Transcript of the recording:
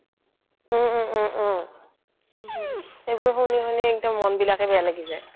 উম উম উম উম সেইবোৰ শুনি শুনি মনটোৱে বেয়া লাগি যায়